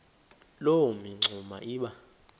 loo mingxuma iba